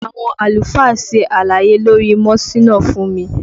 Àwọn àlùfáà ṣe àlàyé lórí mọ́síná fún mi